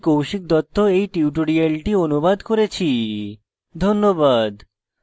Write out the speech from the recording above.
আমি কৌশিক দত্ত এই টিউটোরিয়ালটি অনুবাদ করেছি ধন্যবাদ